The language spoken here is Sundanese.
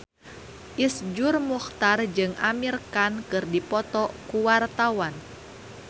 Iszur Muchtar jeung Amir Khan keur dipoto ku wartawan